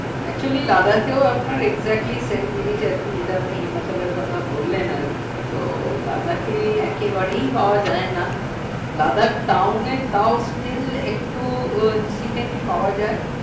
actually Ladakh আপনার exactly same জিনিস যেটা আপনি হিমাচলের কথা বললেন আর কি তো Ladakh একেবারেই পাওয়া যায় না Ladakh town তাও still একটু chicken পাওয়া যায়